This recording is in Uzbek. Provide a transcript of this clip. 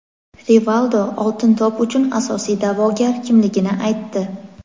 Rivaldo "Oltin to‘p" uchun asosiy da’vogar kimligini aytdi.